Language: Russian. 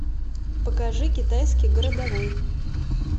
покажи китайский городовой